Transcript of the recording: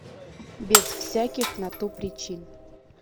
без всяких на то причин